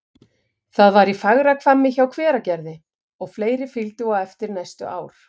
Það var í Fagrahvammi hjá Hveragerði, og fleiri fylgdu á eftir næstu ár.